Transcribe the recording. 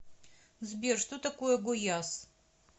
сбер что такое гояс